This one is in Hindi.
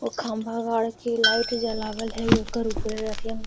और खम्बा गाड़ के लाइट जलावल है। --